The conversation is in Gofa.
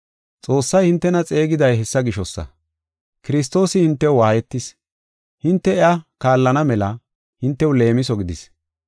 Xoossay hintena xeegiday hessa gishosa; Kiristoosi hintew waayetis; hinte iya kaallana mela, hintew leemiso gidis.